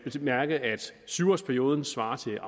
syv årsperioden svarer til